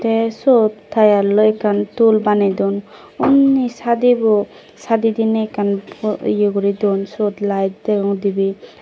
te sod tealloi ekkan tul bane don unni sadibo sadi dine ekkan po ye guri don sod light degong dibe.